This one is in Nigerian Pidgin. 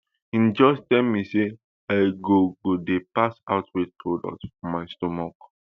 e just tell me say i go go dey pass out waste product from my stomach